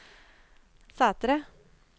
Sætre